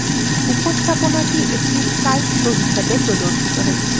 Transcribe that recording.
উপস্থাপনাটি একটি slide show হিসেবে প্রদর্শিত হচ্ছে